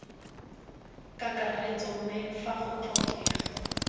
kakaretso mme fa go tlhokega